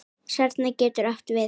Snara getur átt við